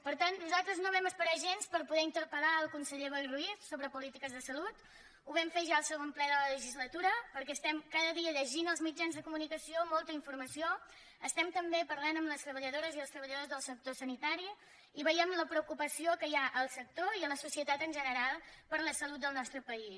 per tant nosaltres no vam esperar gens per poder interpel·lar el conseller boi ruiz sobre polítiques de salut ho vam fer ja al segon ple de la legislatura perquè cada dia llegim als mitjans de comunicació molta informació parlem també amb les treballadores i els treballadors del sector sanitari i veiem la preocupació que hi ha al sector i a la societat en general per la salut del nostre país